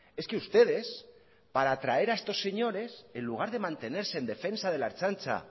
es que ustedes para traer a estos señores en lugar de mantenerse en defensa de la ertzaintza